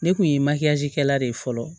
Ne kun ye kɛla de ye fɔlɔ